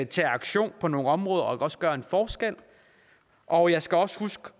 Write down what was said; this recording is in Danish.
tage aktion på nogle områder og også gøre en forskel og jeg skal også huske